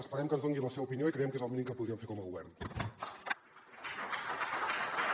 esperem que ens doni la seva opinió i creiem que és el mínim que podrien fer com a govern